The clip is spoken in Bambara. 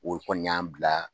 O kɔni y'an bila